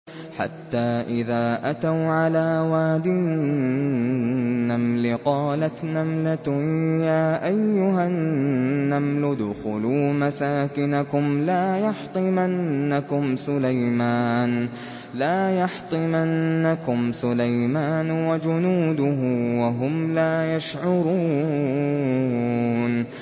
حَتَّىٰ إِذَا أَتَوْا عَلَىٰ وَادِ النَّمْلِ قَالَتْ نَمْلَةٌ يَا أَيُّهَا النَّمْلُ ادْخُلُوا مَسَاكِنَكُمْ لَا يَحْطِمَنَّكُمْ سُلَيْمَانُ وَجُنُودُهُ وَهُمْ لَا يَشْعُرُونَ